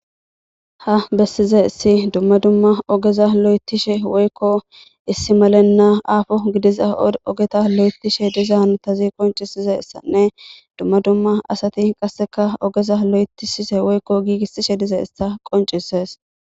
ha besizays dumma dumma ogeza lo'etishe woykko issi malenna aafo gidiza ogeta lo'etishe dizaysa qoncisishene dumma dumma asati qasseka ogeza lo'etisise woykko giigissishe dizaysa qoncises.